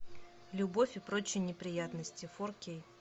любовь и прочие неприятности фор кей